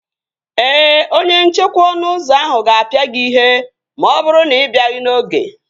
Ee, onye nchekwa ọnụ ụzọ ahụ ga-apịa gị ihe ma ọ bụrụ na ị bịaghị n'oge